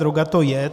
Droga to je.